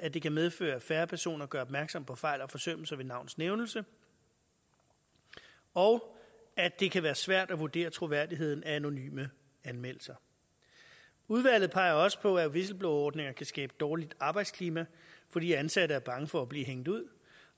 at det kan medføre at færre personer gør opmærksom på fejl og forsømmelser ved navns nævnelse og at det kan være svært at vurdere troværdigheden af anonyme anmeldelser udvalget peger også på at whistleblowerordninger kan skabe dårligt arbejdsklima fordi ansatte er bange for at blive hængt ud